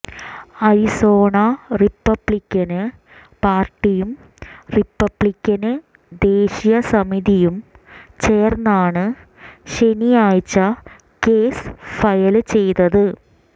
Arizona Republican പാര്ട്ടിയും Republican ദേശീയ സമിതിയും ചേര്ന്നാണ് ശനിയാഴ്ച കേസ് ഫയല് ചെയ്തത്